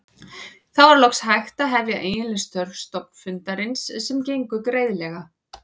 Þá var loks hægt að hefja eiginleg störf stofnfundarins sem gengu greiðlega.